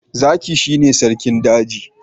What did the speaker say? Zaki shi ne sarki daji.